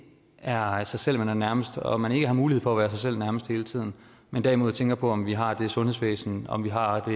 er sig selv man er nærmest og at man ikke har mulighed for at være sig selv nærmest hele tiden men derimod tænker på om vi har det sundhedsvæsen om vi har det